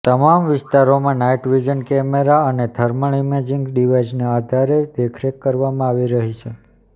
તમામ વિસ્તારોમાં night vision camera અને થર્મલ ઈમેજિંગ ડિવાઈસના આધારે દેખરેખ કરવામાં આવી રહી છે